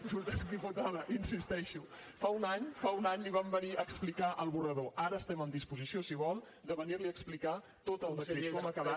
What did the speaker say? diputada hi insisteixo fa un any li vam venir a explicar l’esborrany ara estem en disposició si vol de venir li a explicar tot el procés com ha acabat